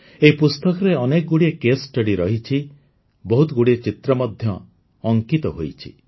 ଏହି ପୁସ୍ତକରେ ଅନେକଗୁଡ଼ିଏ କେସ୍ ଷ୍ଟଡି ରହିଛି ବହୁତଗୁଡ଼ିଏ ଚିତ୍ର ମଧ୍ୟ ଅଙ୍କିତ ହୋଇଛି